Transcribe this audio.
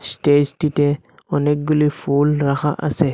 স্টেজটিতে অনেকগুলি ফুল রাখা আসে।